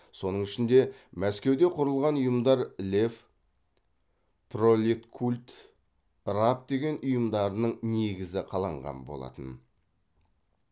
соның ішінде мәскеуде құрылған ұйымдар лев пролеткульт раб деген ұйымдарының негізі қаланған болатын